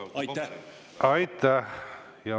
Aitäh!